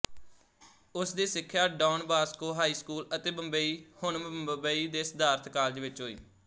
ਉਸਦੀ ਸਿੱਖਿਆ Don Bosco high school ਅਤੇ ਬੰਬਈ ਹੁਣ ਮੁੰਬਈ ਦੇ ਸਿਦਾਰਥ ਕਾਲਜ ਵਿੱਚ ਹੋਈ